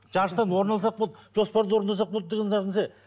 жарыстан орын алсақ болды жоспарды орындасақ болды деген нәрсе